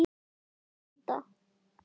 Þeir neita.